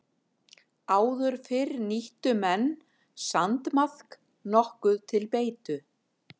Áður fyrr nýttu menn sandmaðk nokkuð til beitu.